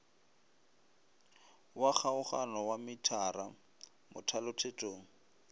wa kgaogano wa metara mothalothetong